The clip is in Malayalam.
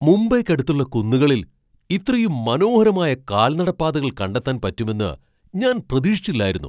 മുംബൈയ്ക്കടുത്തുള്ള കുന്നുകളിൽ ഇത്രയും മനോഹരമായ കാൽനട പാതകൾ കണ്ടെത്താൻ പറ്റുമെന്ന് ഞാൻ പ്രതീക്ഷിച്ചില്ലായിരുന്നു.